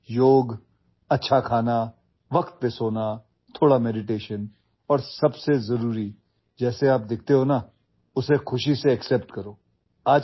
व्यायाम योग चांगले अन्न वेळेवर झोप थोडे मेडिटेशन आणि सर्वात महत्त्वाचे म्हणजे जसे तुम्ही आहात तसे आनंदाने स्वीकारा